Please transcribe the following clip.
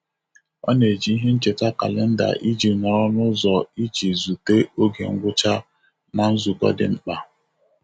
Ọ na-eji ihe ncheta kalenda iji nọrọ n'ụzọ iji zute oge ngwụcha na nzukọ dị mkpa.